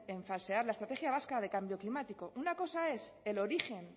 en falsear la estrategia vasca de cambio climático una cosa es el origen